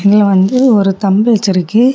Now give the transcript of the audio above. இதுல வந்து ஒரு தம்பிள்ஸ் இருக்கு.